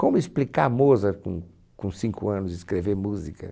Como explicar Mozart com com cinco anos escrever música?